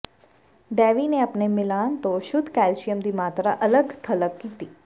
ਡੈਵੀ ਨੇ ਆਪਣੇ ਮਿਲਾਨ ਤੋਂ ਸ਼ੁੱਧ ਕੈਲਸੀਅਮ ਦੀ ਮਾਤਰਾ ਅਲੱਗ ਥਲੱਗ ਕੀਤੀ